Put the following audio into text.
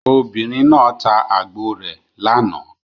Obìnrin náà ta àgbò rẹ̀ lánàá.